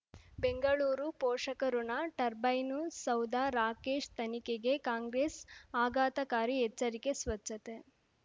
ಬೆಂಗಳೂರು ಪೋಷಕಋಣ ಟರ್ಬೈನು ಸೌಧ ರಾಕೇಶ್ ತನಿಖೆಗೆ ಕಾಂಗ್ರೆಸ್ ಆಘಾತಕಾರಿ ಎಚ್ಚರಿಕೆ ಸ್ವಚ್ಛತೆ